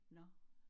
Nåh